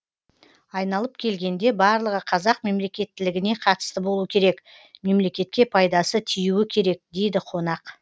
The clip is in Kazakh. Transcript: айналып келгенде барлығы қазақ мемлекеттілігіне қатысты болу керек мемлекетке пайдасы тиюі керек дейді қонақ